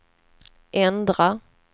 ändra